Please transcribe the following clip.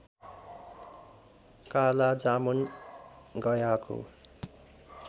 काला जामुन गयाको